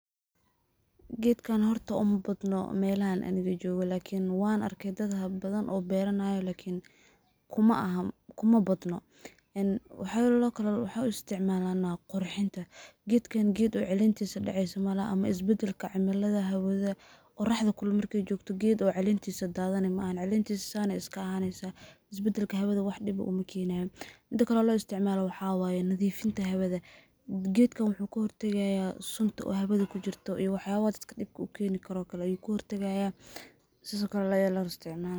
Geed ka hor umma badno meelan ayeen gajoo waakiin waan arkeydadaha badan oo beeraya lakiin kuma aha kuma badno. In waxyaabo loo kala xukumay inuu isticmaalaa qurxinta, geeda ka hor geed oo celiintiisa dhacaysi maal ama isbeddelka cimilada hawada. qoraxdo kul laa markii joogto geed oo celiintiisa daadan imaan. Celiintiisa saan iska ahaynaysa isbedelka hawada wakhtiga u makiina. Inta kale oo loo isticmalaa waxaawaaya nadiifinta hawada. Geedigana wuxu ku urursan yimaado sumta hawadu ku jirto iyo waxyaabada dhibku u keeni karo kala iibku urursan yimaado si sokolaya la isticmaalo.